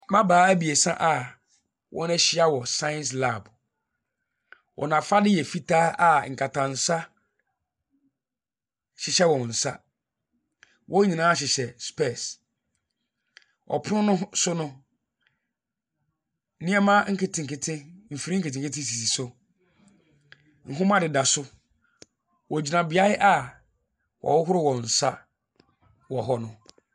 Mmabaa ebiesa a wɔn ahyia wɔ science lab. Wɔn afadeɛ yɛ fitaa a nkatansa ɛhyehyɛ wɔn sa. Wɔn nyinaa hyehyɛ spɛs. Ɔpono no so no, nnoɔma ɛfiri nketenkete sisi so nwoma de da so. Ɔgyina beaeɛ a ɔhohoro wɔnsa wɔ no.